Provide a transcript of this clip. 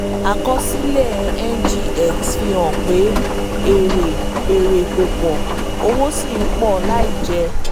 àkọsílẹ̀ ngx fi hàn pé èrè èrè kò pọ̀ owó sì ń pọ̀ láì jẹ́.